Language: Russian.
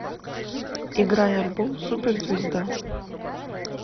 играй альбом суперзвезда